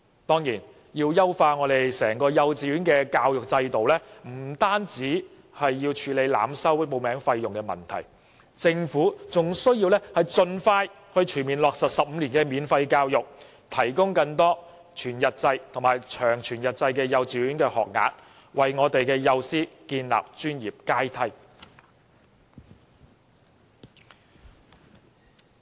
當然，要優化整個幼稚園教學制度，不僅要處理濫收報名費的問題，政府還要盡快全面落實15年免費教育，提供更多全日制及長全日制幼稚園學額，並為幼師建立專業階梯。